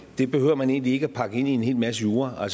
det behøver man egentlig ikke at pakke ind i en hel masse jura